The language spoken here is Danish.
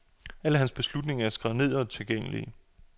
Alle hans beslutninger er skrevet ned og tilgængelige.